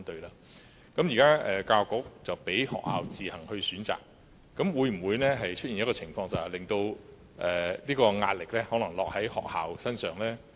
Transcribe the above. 現時教育局容許學校自行選擇，會否令壓力落在學校身上呢？